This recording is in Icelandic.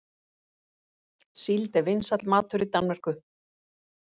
Síld er vinsæll matur í Danmörku.